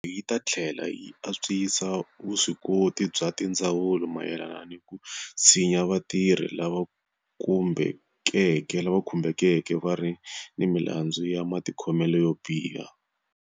Yi ta tlhela yi antswisa vuswikoti bya tindzawulo mayelana ni ku tshinya vatirhi lava kumbekeke va ri ni milandzu ya matikhomelo yo biha.